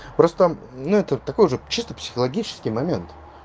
просто ну это такой же чисто психологический момент